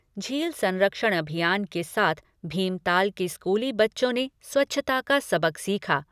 झील संरक्षण अभियान के साथ भीमताल के स्कूली बच्चों ने स्वच्छता का सबक सीखा।